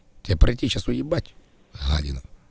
тебе прийти сейчас уебать гадина